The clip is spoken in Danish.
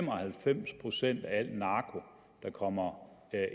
og halvfems procent af al narko der kommer